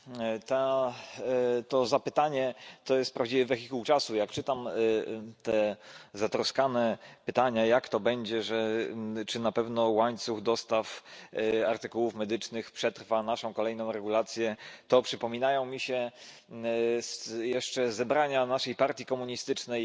Pani Przewodnicząca! To zapytanie to jest prawdziwy wehikuł czasu. Jak czytam te zatroskane pytania jak to będzie, czy na pewno łańcuch dostaw artykułów medycznych przetrwa naszą kolejną regulację, to przypominają mi się jeszcze zebrania naszej partii komunistycznej,